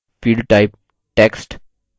field type text